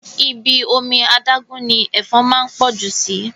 Ibi omi adágún ni Ẹ̀fọn máa ń pọ̀ jù síí